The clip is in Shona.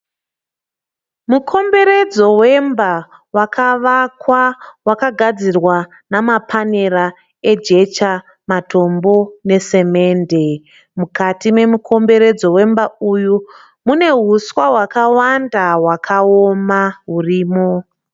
Mukomberedzo wemba wakavakwa wakagadzirwa namapanera ejecha, matombo nesemende. Mukati memukomberedzo wemba uyu mune huswa hwakawanda hwakaoma hurimo